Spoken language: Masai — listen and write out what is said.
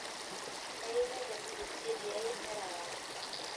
Kayie naitang'ejuk cheti ai ereware.